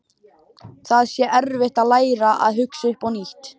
Það sé erfitt að læra að hugsa upp á nýtt.